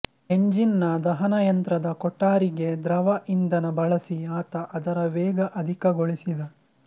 engine ನ ದಹನಯಂತ್ರದ ಕೊಠಾರಿಗೆ ದ್ರವ ಇಂಧನ ಬಳಸಿ ಆತ ಅದರ ವೇಗ ಅಧಿಕಗೊಳಿಸಿದ